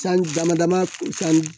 Sanji dama dama san